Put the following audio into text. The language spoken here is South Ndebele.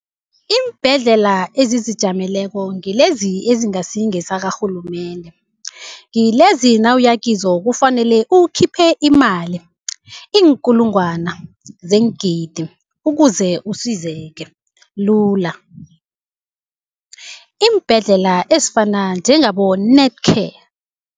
Iimbhedlela ezizijameleko ngilezi ezingasi ngesakarhulumende. Ngilezi nawuya kizo kufanele ukhiphe imali, iinkulungwana zeengidi ukuze usizeke lula, iimbhedlela ezifana njengabo-Netcare.